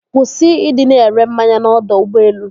Kwụsị ịdị na-ere mmanya n'ọdọ ụgbọelu.